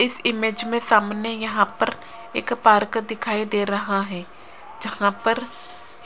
इस इमेज में सामने यहाँ पर एक पार्क दिखाई दे रहा है जहाँ पर